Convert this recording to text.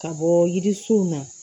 Ka bɔ yirisunw na